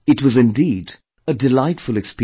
It was indeed a delightful experience